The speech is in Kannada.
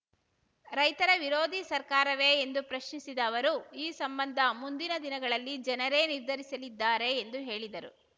ರೈತರ ವಿರೋಧಿ ಸರ್ಕಾರವೇ ಎಂದು ಪ್ರಶ್ನಿಸಿದ ಅವರು ಈ ಸಂಬಂಧ ಮುಂದಿನ ದಿನಗಳಲ್ಲಿ ಜನರೇ ನಿರ್ಧರಿಸಲಿದ್ದಾರೆ ಎಂದು ಹೇಳಿದರು